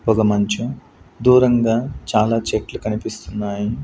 పొగమంచు దూరంగా చాలా చెట్లు కనిపిస్తున్నాయి.